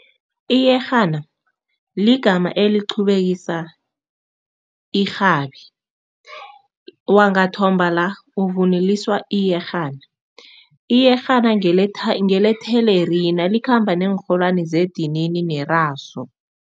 Iyerhana ligama eliqhubekisa irhabi. Wangathomba la uvunuliswa iyerhana, iyerhana ngelethelerina likhamba neenrholwane zedinini nerasu.